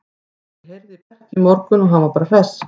Ég heyrði í Berki í morgun og hann var bara hress.